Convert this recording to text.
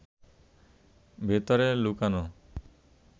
ভেতরে লুকানো